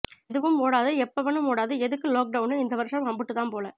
ஏதுவும் ஓடாது ஏப்பவனும் ஓடாது எதுக்கு லோக்கடவுனு இந்த வருஷம் அம்புட்டு தான் போல